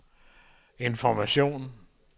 information